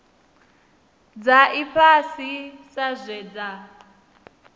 dza ifhasi sa zwe dza